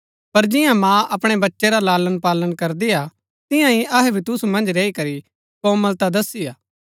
पर जिआं माँ अपणै बच्चै रा लालणपालन करदी हा तियां ही अहै भी तुसु मन्ज रैई करी कोमलता दसी हा